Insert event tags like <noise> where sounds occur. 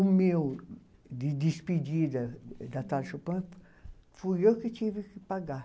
O meu, de despedida da <unintelligible> Chopin, fui eu que tive que pagar.